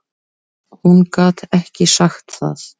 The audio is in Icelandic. Hún gat ekki sagt það.